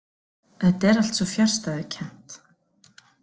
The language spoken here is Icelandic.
Þetta er allt svo fjarstæðukennt.